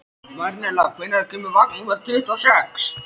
Marinella, hvenær kemur vagn númer tuttugu og sex?